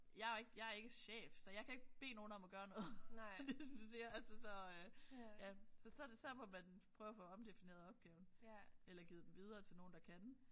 Jeg er ikke jeg er ikke chef så jeg kan ikke bede nogen om at gøre noget ligesom du siger altså så ja så så må man prøv at få omdefineret opgaven eller givet den videre til nogen der kan